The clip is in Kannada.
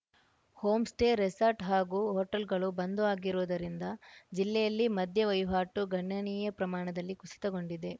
ಹೋಂಸ್ಟೇ ರೆಸಾರ್ಟ್‌ ಹಾಗೂ ಹೊಟೇಲ್‌ಗಳು ಬಂದ್‌ ಆಗಿರುವುದರಿಂದ ಜಿಲ್ಲೆಯಲ್ಲಿ ಮದ್ಯ ವಹಿವಾಟು ಗಣನೀಯ ಪ್ರಮಾಣದಲ್ಲಿ ಕುಸಿತಗೊಂಡಿದೆ